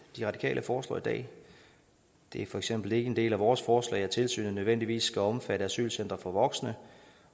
de radikale foreslår i dag det er for eksempel ikke en del af vores forslag at tilsynet nødvendigvis skal omfatte asylcentre for voksne